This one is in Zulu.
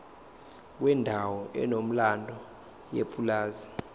kwendawo enomlando yepulazi